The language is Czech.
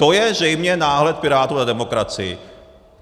To je zřejmě náhled Pirátů na demokracii.